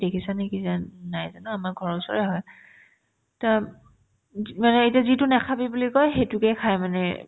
দেখিছা নেকি যেন নাই যে ন আমাৰ ঘৰৰ ওচৰৰে হয় তেওঁ মানে এতিয়া যিটো নেখাবি বুলি কই সেটোকে খাই মানে